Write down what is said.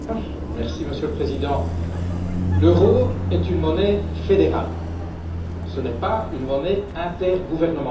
Monsieur le Président, l'euro est une monnaie fédérale, ce n'est pas une monnaie intergouvernementale.